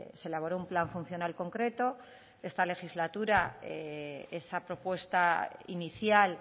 se elaboró un plan funcional concreto esta legislatura esa propuesta inicial